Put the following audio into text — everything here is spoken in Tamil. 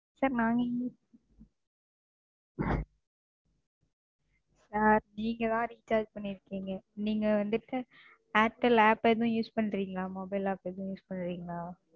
Sir நாங்க Sir நீங்க தான் Recharge பண்ணிருக்கீங்க. நீங்க வந்துட்டு ஏர்டெல் App எதுவும் Use பண்றீங்களா? Mobile app எதுவும் Use பண்றீங்களா?